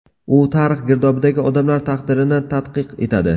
U tarix girdobidagi odamlar taqdirini tadqiq etadi.